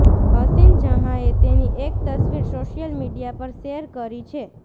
હસીન જહાંએ તેની એક તસવીર સોશિયલ મીડિયા પર શેર કરી છે